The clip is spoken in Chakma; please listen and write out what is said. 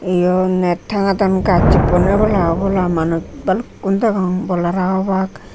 eyot net tangadon gaj huboneh obola obola manus balukon degong ball hara hobak.